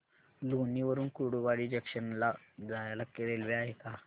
लोणी वरून कुर्डुवाडी जंक्शन ला जायला रेल्वे आहे का